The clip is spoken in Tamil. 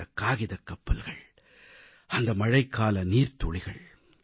அந்தக் காகிதக் கப்பல்கள் அந்த மழைக்கால நீர்த்துளிகள்